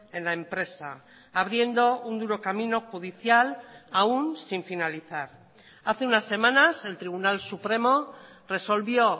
en la empresa abriendo un duro camino judicial aún sin finalizar hace unas semanas el tribunal supremo resolvió